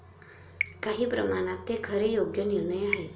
काही प्रमाणात ते खरे योग्य निर्णय आहे.